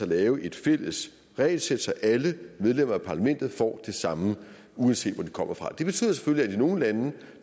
lave et fælles regelsæt så alle medlemmer af parlamentet får det samme uanset hvor de kommer fra det betyder selvfølgelig at i nogle lande